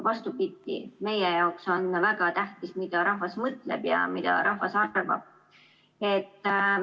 Vastupidi, meie jaoks on väga tähtis, mida rahvas mõtleb ja mida rahvas arvab.